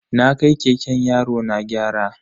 Na kai keken yarona gyara.